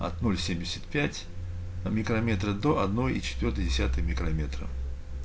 от ноль семьдесят пять микрометра до одной и четвёртой десятой микрометра